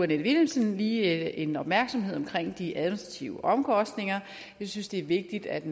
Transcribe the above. vilhelmsen lige en opmærksomhed på de administrative omkostninger jeg synes det er vigtigt at